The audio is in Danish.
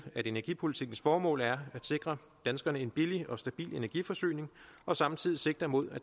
at energipolitikkens formål er at sikre danskerne en billig og stabil energiforsyning og samtidig sigter mod